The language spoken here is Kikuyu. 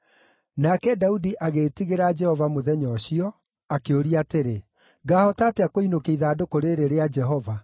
Nake Daudi agĩĩtigĩra Jehova mũthenya ũcio, akĩũria atĩrĩ, “Ngaahota atĩa kũinũkia ithandũkũ rĩĩrĩ rĩa Jehova?”